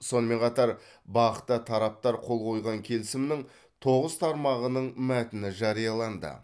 сонымен қатар бақ та тараптар қол қойған келісімнің тоғыз тармағының мәтіні жарияланды